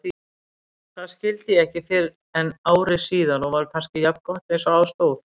Það skildi ég ekki fyrren ári síðar og var kannski jafngott einsog á stóð.